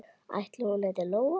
Ætli hún heiti Lóa?